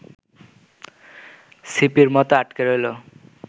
ছিপির মতো আটকে রইল